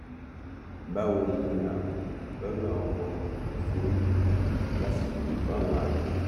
báwo ni ààbò lọnà ọkọ ṣe rí lásìkò yìí fáwọn àgbẹ